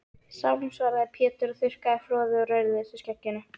Sálm, svaraði Pétur og þurrkaði froðu úr rauðleitu skegginu.